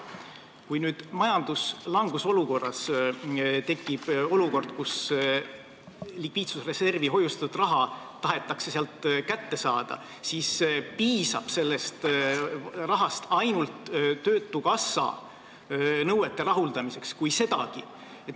Kui nüüd majanduslanguse ajal tekib olukord, kus likviidsusreservi hoiustatud raha tahetakse sealt kätte saada, siis piisab sellest rahast ainult töötukassa nõuete rahuldamiseks, kui sedagi.